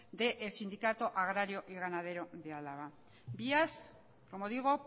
del sindicato agrario y ganadero de álava vías como digo